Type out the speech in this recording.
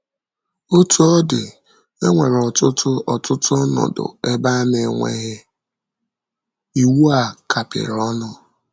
Otú ọ dị, e nwere ọtụtụ ọtụtụ ọnọdụ ebe a na - enweghị iwu a kapịrị ọnụ.